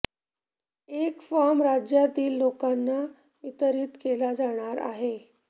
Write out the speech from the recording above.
एक फॉर्म राज्यातील लोकांना वितरित केला जाणार आहे